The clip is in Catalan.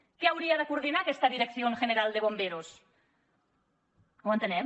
què hauria de coordinar aquesta dirección general de bomberos no ho entenem